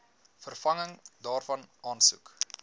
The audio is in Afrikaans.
vervanging daarvan aansoek